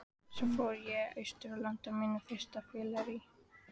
Svo fór ég austur og lenti á mínu fyrsta fylleríi.